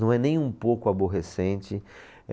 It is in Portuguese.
Não é nem um pouco aborrecente.